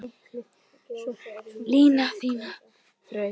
Lina þínar þrautir má.